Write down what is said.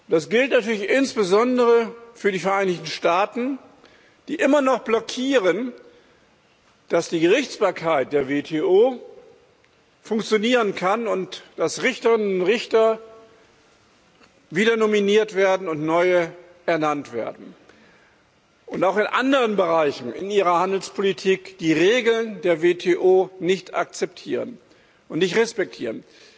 Das gilt natürlich insbesondere für die Vereinigten Staaten, die immer noch blockieren, dass die Gerichtsbarkeit der WTO funktionieren kann und dass Richterinnen und Richter wieder nominiert und neue ernannt werden, und die auch in anderen Bereichen ihrer Handelspolitik die Regeln der WTO nicht akzeptieren und nicht respektieren.